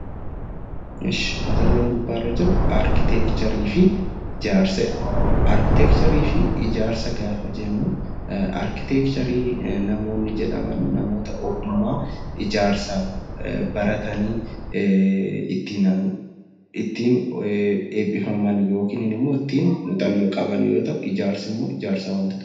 Mata dureen gubbaa irra jiru arkiteekcharii fi ijaarsa jedha. Arkiteekcharii fi ijaarsa gaafa jennu arkiteekcharii namoonni jedhamanuu namoota ogummaa ijaarsaa baratanii ittiin eebbifaman yookiin immoo ittiin muuxannoo qaban yoo ta'u, ijaarsi immoo ijaarsa waantotaati.